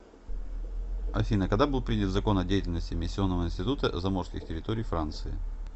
афина когда был принят закон о деятельности эмиссионного института заморских территорий франции